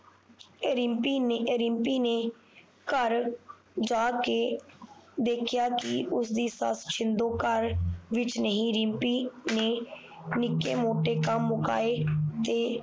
ਰਿਮਪੀ ਨੇ ਰਿਮਪੀ ਨੇ ਘਰ ਜਾ ਕੇ ਦੇਖਿਆ ਕਿ ਉਸਦੀ ਸੱਸ ਸਿੰਧੂ ਘਰ ਵਿਚ ਨਹੀਂ ਰਿਮਪੀ ਨੇ ਨਿੱਕੇ ਮੋਟੇ ਕੰਮ ਮੁਕਾਏ ਤੇ